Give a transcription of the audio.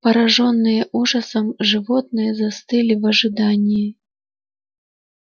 поражённые ужасом животные застыли в ожидании